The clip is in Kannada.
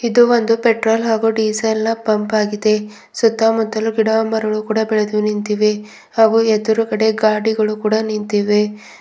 ಮತ್ತು ಒಂದು ಪೆಟ್ರೋಲ್ ಹಾಗು ಡೀಸೆಲ್ನ ಪಂಪಗಿದೆ ಸುತ್ತಮುತ್ತಲೂ ಗಿಡಮರಗಳು ಬೆಳೆದು ನಿಂತಿವೆ ಹಾಗು ಎದುರುಗಡೆ ಗಾಡಿಗಳು ಕೂಡ ನಿಂತಿವೆ.